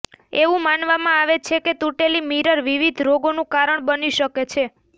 એવું માનવામાં આવે છે કે તૂટેલી મિરર વિવિધ રોગોનું કારણ બની શકે છે